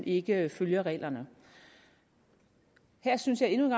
ikke følger reglerne her synes jeg endnu en